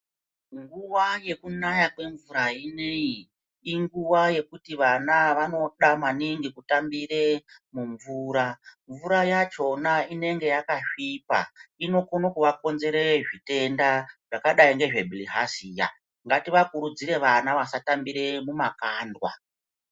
Nguwa yekunaya kwemvura inoyi inguva yekuti vana vanoda maningi kutambire mumvura, mvura yachona inenge yakasviba inokone kuvakonzera zvitenda zvakadai ngebhirihaziya. Ngativakurudzire vana vasatambire mumakandwa.